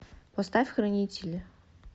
поставь хранители